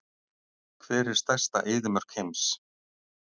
Hver er stærsta eyðimörk heims?